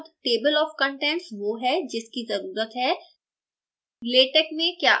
केवल एक शब्द table of contents वो है जिसकी ज़रुरत है